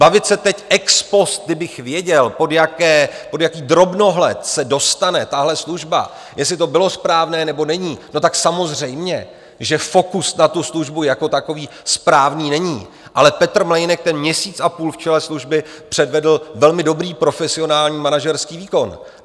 Bavit se teď ex post, kdybych věděl, pod jaký drobnohled se dostane tahle služba, jestli to bylo správné, nebo není - no tak samozřejmě, že fokus na tu službu jako takový správný není, ale Petr Mlejnek ten měsíc a půl v čele služby předvedl velmi dobrý profesionální manažerský výkon.